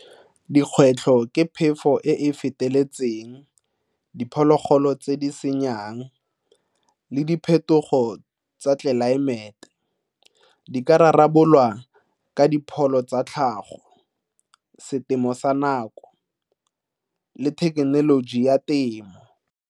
Dikgwetlho ke phefo e e feteletseng, diphologolo tse di senyang le diphetogo tsa tlelaemete. Di ka rarabololwa ka dipholo tsa tlhago, setemo sa nako le thekenoloji ya temo.